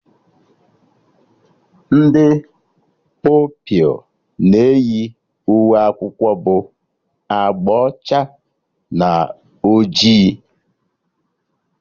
Ndị Pupilụ na eyi uwe akwụkwọ bụ agba ọcha na ojii